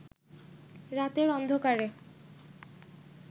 রাতের অন্ধকারে